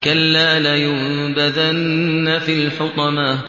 كَلَّا ۖ لَيُنبَذَنَّ فِي الْحُطَمَةِ